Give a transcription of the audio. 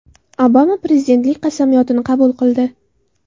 Obama prezidentlik qasamyodini qabul qildi .